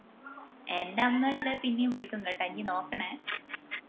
എന്റെ അമ്മ ചേലേപ്പോം ഇഞ്ഞെയും വിളിക്കും കേട്ട ഇഞ് നോക്കണേ